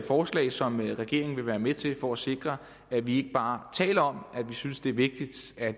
forslag som regeringen vil være med til for at sikre at vi ikke bare taler om at vi synes det er vigtigt at